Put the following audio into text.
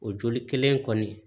O joli kelen in kɔni